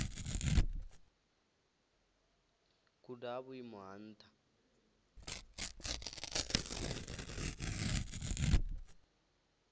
guda ha vhuimo ha nṱha